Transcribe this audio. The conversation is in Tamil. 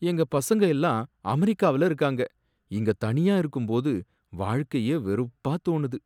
எங்க பசங்க எல்லாம் அமெரிக்காவுல இருக்காங்க, இங்க தனியா இருக்கும்போது வாழ்க்கையே வெறுப்பா தோணுது.